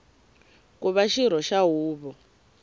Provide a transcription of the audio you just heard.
ku va xirho xa huvo